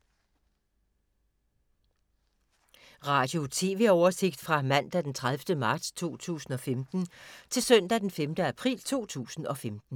Radio/TV oversigt fra mandag d. 30. marts 2015 til søndag d. 5. april 2015